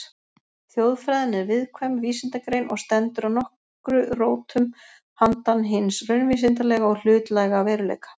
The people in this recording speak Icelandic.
Þjóðfræðin er viðkvæm vísindagrein og stendur að nokkru rótum handan hins raunvísindalega og hlutlæga veruleika.